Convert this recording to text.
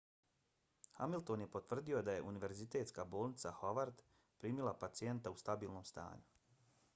hamilton je potvrdio da je univerzitetska bolnica howard primila pacijenta u stabilnom stanju